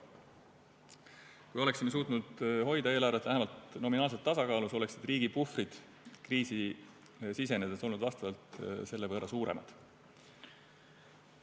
Kui oleksime suutnud hoida eelarvet vähemalt nominaalselt tasakaalus, oleksid riigi puhvrid kriisi sisenedes olnud vastavalt selle võrra suuremad.